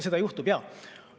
Seda juhtub, jaa.